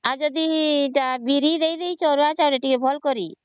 ଆଉ ଯଦି ବିରି ଦେଇଛ ଅରୁଆ ଚାଉଳ ରେ ଭଲ କରି